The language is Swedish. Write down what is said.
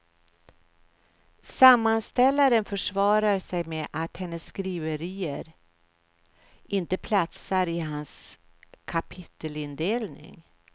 Sammanställaren försvarar sig med att hennes skriverier inte platsar i hans kapitelindelning.